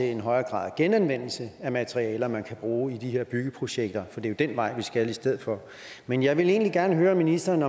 en højere grad af genanvendelse af materialer som man kan bruge i de her byggeprojekter for det er jo den vej vi skal i stedet for men jeg vil egentlig gerne høre om ministeren